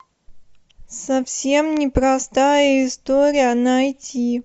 совсем непростая история найти